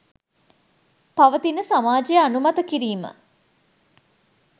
පවතින සමාජය අනුමත කිරීම